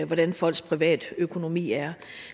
hvordan folks privatøkonomi er